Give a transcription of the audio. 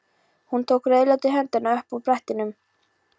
Hún tók rauðleitar hendurnar upp af brettinu.